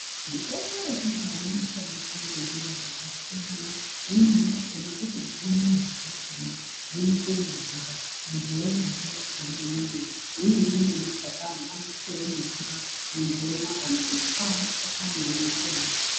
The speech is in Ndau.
Mitombo yechindau inoshandiswa ngenjira dzakasiyana imweni yakona kutotse midzi dzakona dzonyikwe mumvura muntu womwa mvura yakona iyoyo imweni ine mashakani anoiswawo mumvura muntu omwa kana kutwa mashakani woise mubota.